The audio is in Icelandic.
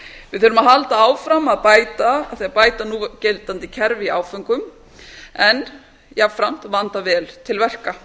við þurfum að halda áfram að bæta núgildandi kerfi í áföngum en jafnframt að vanda vel til verka